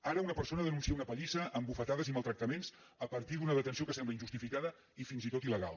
ara una persona denuncia una pallissa amb bufetades i maltractaments a partir d’una detenció que sembla injustificada i fins i tot il·legal